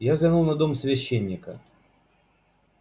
я взглянул на дом священника